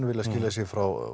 vilja skilja sig frá